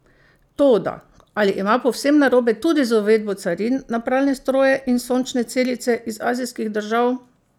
Toda ali ima povsem narobe tudi z uvedbo carin na pralne stroje in sončne celice iz azijskih držav?